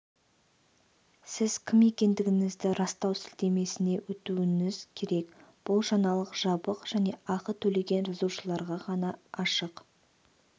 сіз кім екендігіңізді растау сілтемесіне өтуіңіз керек бұл жаңалық жабық және ақы төлеген жазылушыларға ғана ашық